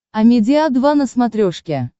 амедиа два на смотрешке